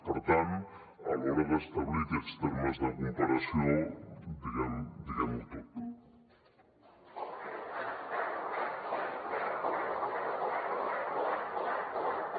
per tant a l’hora d’establir aquests termes de comparació diguem ho tot